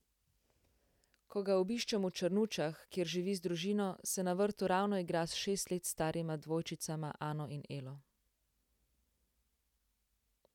Ko ga obiščem v Črnučah, kjer živi z družino, se na vrtu ravno igra s šest let starima dvojčicama Ano in Elo.